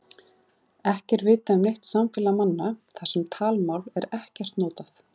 Ekki er vitað um neitt samfélag manna þar sem talmál er ekkert notað.